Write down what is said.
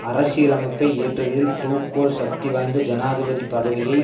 அரசியலமைப்பை இயற்றுதலில் De Gaulle சக்தி வாய்ந்த ஜனாதிபதி பதவியை